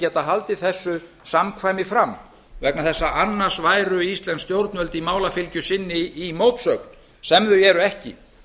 geta haldið þessu samkvæm framvegna þess að annars væru íslensk stjórnvöld í málafylgju sinni í mótsögn sem þau eru ekki